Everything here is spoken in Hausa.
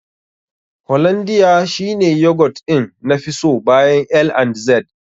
Hollondia shi ne yogurt ɗin nafi so bayan L&Z.